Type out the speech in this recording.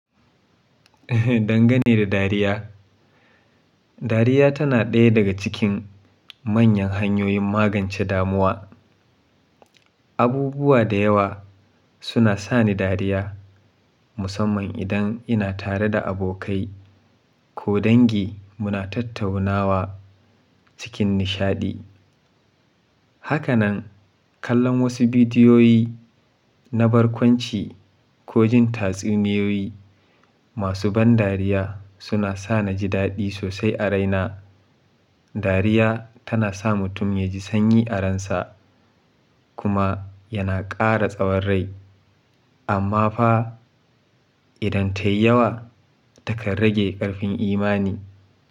Dangane da dariya, dariya tana ɗaya daga cikin manyan hanyoyin magance damuwa. Abubuwa da yawa suna sa ni dariya, musamman idan ina tare da abokai ko dangi muna tattaunawa cikin nishaɗi. Haka nan, kallon wasu bidiyoyi na barkwanci ko jin tatsuniyoyi masu ban dariya suna sa na ji daɗi sosai a raina. Dariya tana sa mutum ya ji sanyi a ransa kuma yana ƙara tsawon rai. Amma fa idan ta yi yawa, ta kan rage ƙarfin imani.